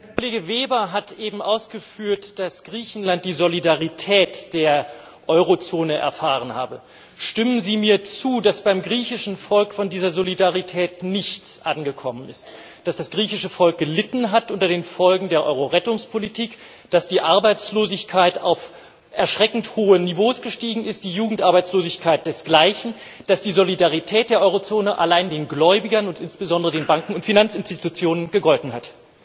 Frau Präsidentin! Kollege Weber hat eben ausgeführt, dass Griechenland die Solidarität der Eurozone erfahren habe. Stimmen Sie mir zu, dass beim griechischen Volk von dieser Solidarität nichts angekommen ist, dass das griechische Volk gelitten hat unter den Folgen der Eurorettungspolitik, dass die Arbeitslosigkeit auf erschreckend hohe Niveaus gestiegen ist, die Jugendarbeitslosigkeit desgleichen, dass die Solidarität der Eurozone allein den Gläubigern und insbesondere den Banken und den Finanzinstitutionen gegolten hat?